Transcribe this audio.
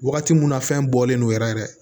Wagati mun na fɛn bɔlen don yɛrɛ yɛrɛ